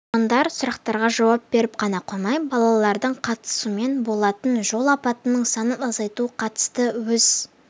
тұрғындар сұрақтарға жауап беріп қана қоймай балалардың қатысуымен болатын жол апатының санын азайтуға қатысты өз